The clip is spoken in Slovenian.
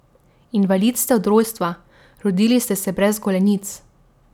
Invalid ste od rojstva, rodili ste se brez golenic.